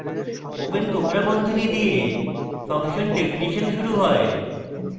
open কোঁকড়া বন্ধনী দিয়ে function definition শুরু হয়